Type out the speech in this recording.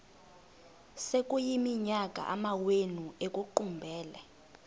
sekuyiminyaka amawenu ekuqumbele